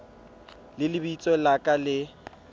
le lebitso la ka le